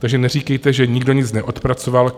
Takže neříkejte, že nikdo nic neodpracoval.